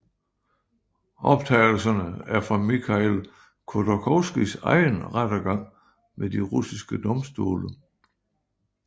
Optagelserne er fra Mikhail Khodorkovskijs egen rettergang ved de russiske domstole